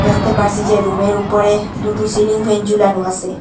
দ্যাখতে পারসি যে রুম -এর উপরে দুটো সিলিং ফ্যান জুলানো আসে।